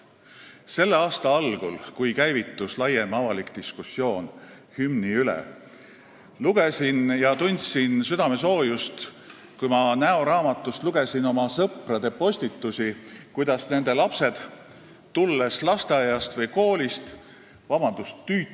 Selle aasta algul, kui käivitus laiem avalik diskussioon hümni üle, tundsin südamesoojust, kui ma näoraamatust lugesin oma sõprade postitusi, et nende lapsed lasteaiast või koolist tulles – vabandust!